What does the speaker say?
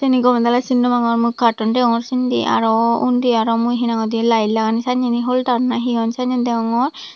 cini gome dale sin nw pangor mui carton degongor sindi aro undi aro mui he nang hoi di light laganne sanne holder na he sannen degongor.